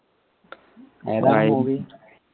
ഏതായിരുന്നു movie